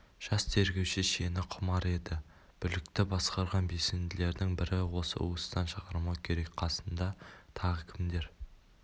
жас тергеуші шені құмар еді бүлікті басқарған белсенділердің бірі осы уыстан шығармау керек қасыңда тағы кімдер